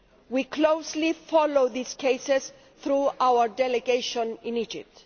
We are closely following these cases through our delegation in Egypt.